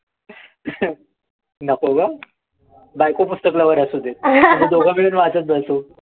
नको गं. बायको पुस्तक lover असू देत. आम्ही दोघं मिळून वाचत बसू.